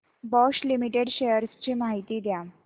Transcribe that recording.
Bosch limited shares ची माहिती द्या